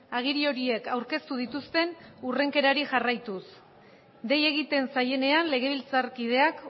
agiri horiek aurkeztu dituzten hurrenkerari jarraituz dei egiten zaienean legebiltzarkideak